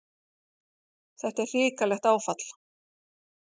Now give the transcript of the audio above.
Þetta er hrikalegt áfall.